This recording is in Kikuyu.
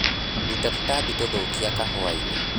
Ruta tũtambi tũthũkia kahũainĩ.